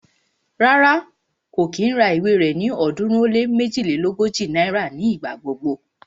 Rárá, kò kí ń ra ìwé rẹ ní ọ̀ọ́dúnrún ó lé méjilélógójì náírà ní ìgbà gbogbo